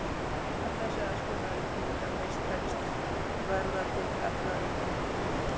Ef þessi aðskilnaður litninga mistekst verða til gallaðar kynfrumur.